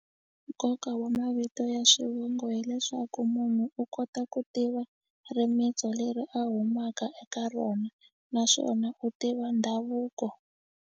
Nkoka wa mavito ya swivongo hileswaku munhu u kota ku tiva rimintsu leri a humaka eka rona naswona u tiva ndhavuko.